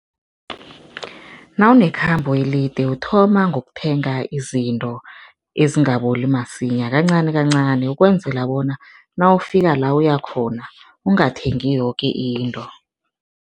Nawunekhambo elide uthoma ngokuthenga izinto ezingaboli masinya, kancanikancani ukwenzela bona nawufika la uyakhona, ungathengi yoke into.